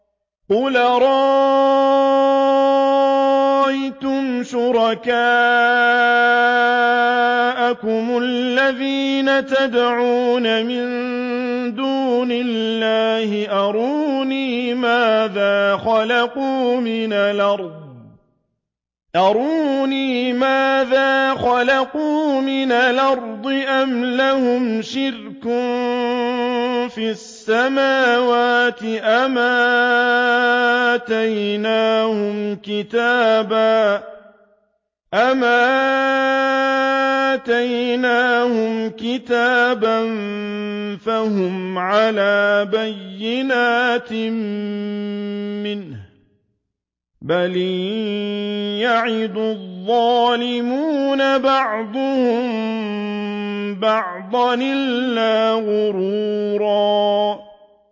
قُلْ أَرَأَيْتُمْ شُرَكَاءَكُمُ الَّذِينَ تَدْعُونَ مِن دُونِ اللَّهِ أَرُونِي مَاذَا خَلَقُوا مِنَ الْأَرْضِ أَمْ لَهُمْ شِرْكٌ فِي السَّمَاوَاتِ أَمْ آتَيْنَاهُمْ كِتَابًا فَهُمْ عَلَىٰ بَيِّنَتٍ مِّنْهُ ۚ بَلْ إِن يَعِدُ الظَّالِمُونَ بَعْضُهُم بَعْضًا إِلَّا غُرُورًا